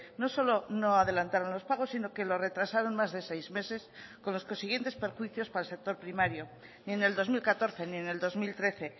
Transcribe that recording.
no solo no adelantaron los pagos sino que lo retrasaron más de seis meses con los consiguientes perjuicios para el sector primario ni en el dos mil catorce ni en el dos mil trece